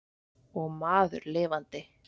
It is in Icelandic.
Og maður lifandi.